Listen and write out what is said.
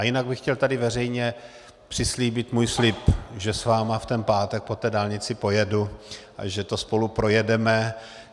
A jinak bych chtěl tady veřejně přislíbit svůj slib, že s vámi v ten pátek po té dálnici pojedu a že to spolu projedeme.